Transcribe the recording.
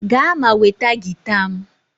Gaa ma nweta gita m!